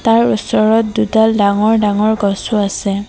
আৰু ওচৰত দুডাল ডাঙৰ ডাঙৰ গছও আছে।